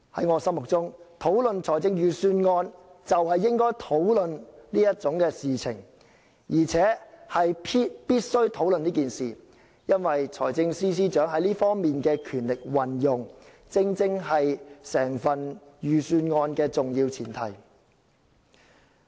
我認為討論預算案，就是應該討論有關安排，而且必須予以討論，因為財政司司長在這方面可行使的權力，正是整份預算案的重要前提。